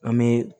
An bɛ